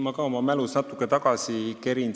Ma kerin oma mälus natuke tagasi.